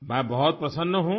میں بہت خوش ہوں